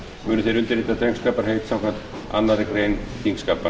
munu þeir undirrita drengskaparheit samkvæmt annarri grein þingskapa